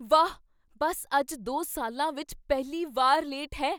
ਵਾਹ, ਬੱਸ ਅੱਜ ਦੋ ਸਾਲਾਂ ਵਿੱਚ ਪਹਿਲੀ ਵਾਰ ਲੇਟ ਹੈ